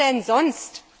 Wer denn sonst?